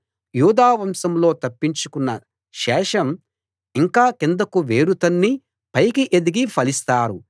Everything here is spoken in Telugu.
యూదా వంశంలో తప్పించుకొన్న శేషం ఇంకా కిందకు వేరు తన్ని పైకి ఎదిగి ఫలిస్తారు